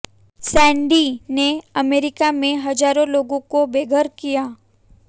Sandy ने अमरीका में हजारों लोगों को बेघर किया